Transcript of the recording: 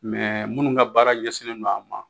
Mɛ minnu ka baara ɲɛsinnen don a ma